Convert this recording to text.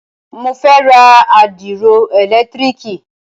Mo fẹ́ ra àdìro ẹ̀lẹ̀tírìkì.